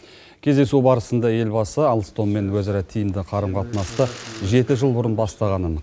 кездесу барысында елбасы алстоммен өзара тиімді қарым қатынасты жеті жыл бұрын бастағанын